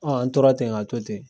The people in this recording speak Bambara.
Ɔn an tora ten a to ten